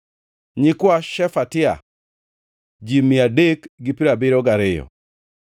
nyikwa Shefatia, ji mia adek gi piero abiriyo gariyo (372),